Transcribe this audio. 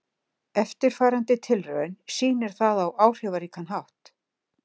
Eftirfarandi tilraun sýnir það á áhrifaríkan hátt.